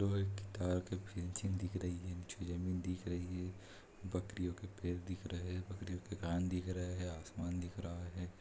लोहे की तार की फेन्सिंग दिख रही है। दिख रही है। बकरियों के पैर दिख रहे हैं बकरियों के कान दिख रहे हैं। आसमान दिख रहा है।